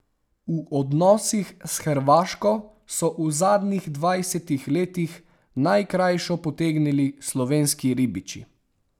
V odnosih s Hrvaško so v zadnjih dvajsetih letih najkrajšo potegnili slovenski ribiči.